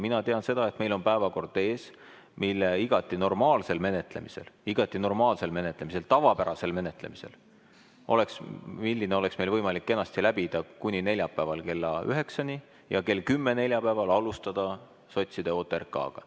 Mina tean seda, et meil on ees päevakord, mis oleks meil igati normaalsel menetlemisel – igati normaalsel menetlemisel, tavapärasel menetlemisel – võimalik kenasti läbida kuni neljapäeval kella 9‑ni ja kell 10 neljapäeval saaks alustada sotside OTRK‑ga.